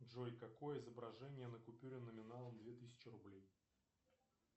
джой какое изображение на купюре номиналом две тысячи рублей